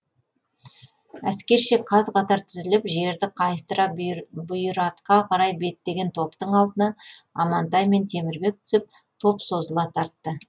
әскерше қаз қатар тізіліп жерді қайыстыра бұйратқа қарай беттеген топтың алдына амантай мен темірбек түсіп топ созыла тартты